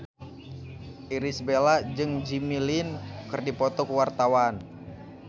Irish Bella jeung Jimmy Lin keur dipoto ku wartawan